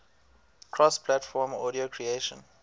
cross platform audio creation